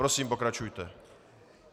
Prosím, pokračujte.